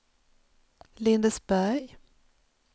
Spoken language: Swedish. Lindesberg